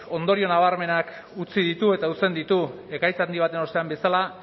ondorio nabarmenak utzi ditu eta uzten ditu ekaitz handi baten ostean bezala